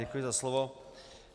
Děkuji za slovo.